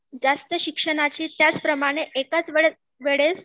जास्त शिक्षणाची त्याच प्रमाणे, एकाच वेळेत, वेळेस